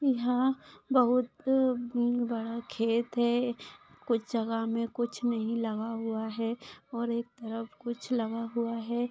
यहा बहुत बड़ा खेत है कुछ जगह मे कुछ नहीं लगा हुआ है और एक तरफ कुछ लगा हुआ है।